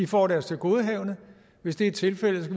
får deres tilgodehavende hvis det er tilfældet